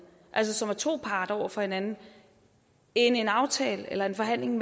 som er to parter over for hinanden end en aftale eller en forhandling